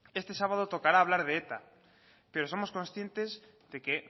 este sábado tocará hablar de eta pero somos conscientes de que